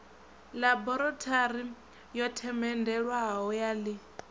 ḽaborathori yo themendelwaho ya ḽi